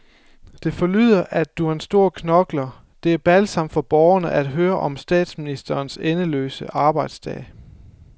Det forlyder, at du er en stor knokler, det er balsam for borgerne at høre om statsministerens endeløse arbejdsdag.